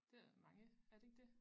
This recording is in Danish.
Det er mange er det ikke det